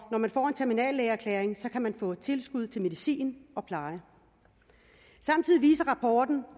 når man får en terminallægeerklæring kan man få tilskud til medicin og pleje samtidig viser rapporten